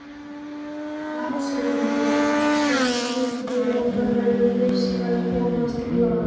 LANDSHÖFÐINGI: Samskipti okkar verða fyrst að komast í lag.